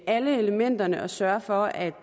alle elementerne og sørge for at